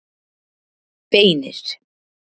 Beinir